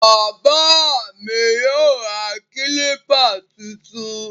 Bàbáà mi yóò ra kílíbà tuntun.